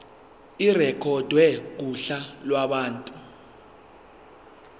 irekhodwe kuhla lwabantu